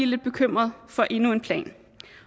lidt bekymret for endnu en plan